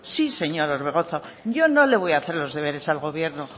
sí señor orbegozo yo no le voy a hacer los deberes al gobierno oiga